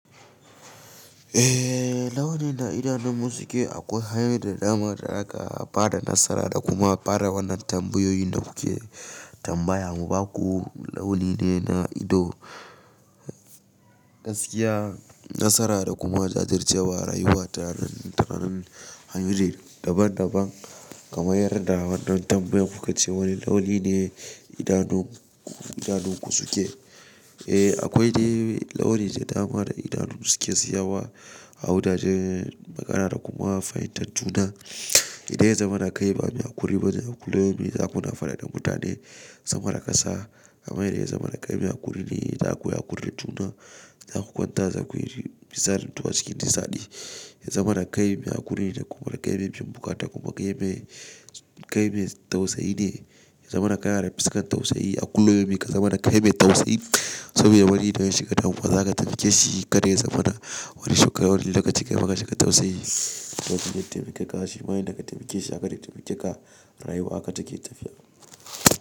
Eh, launin da idanun mu su ke akwai hanyoyi da dama da za ka fara nasara da kuma fara wannan tambayoyin da kuke tambaya mun. Ba ku launi ne na ido, gaskiya, nasara da kuma jajircewa rayuwata, taran hanyoyi daban daban kamar yarda wannan tambayar kuka ce wani launi ne idanun, idanunku suke. Eh akwai de launi da dama da idanu suke siyawa a wuraren makara da kuma fahimtar juna. Idan ya zamana kai ba mai kuri ba ne, dole za ku na faɗa da mutane, zama da ƙasa. Kamar yadda ya zamana kai mai kuri ne, za ku yi hakuri da juna, za ku kwanta, za ku yi misalin zuwa cikin nisaɗi. Ya zamana kai mai hakuri ne da kuma kai mai fimbuka da kuma kai mai, kai mai tausayi ne. Ya zamana kayan fuskar tausayi a kullubyaumin ka zamana kai mai tausayi. Saboda wani da ya shiga damuwa, za ka taimake shi. Ka dai zamana wani shuka wani lokaci ka maka shi ka tausayi. Lokacin da ka taimaka shi ma ya daka taimake shi, a kaɗai taimake ka rayuwa aka take tafiya.